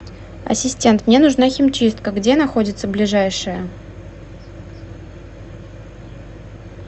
ассистент мне нужна химчистка где находится ближайшая